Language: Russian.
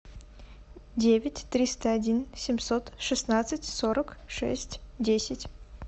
девять триста один семьсот шестнадцать сорок шесть десять